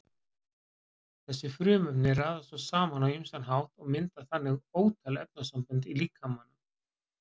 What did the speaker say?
Þessi frumefni raðast svo saman á ýmsan hátt og mynda þannig ótal efnasambönd í líkamanum.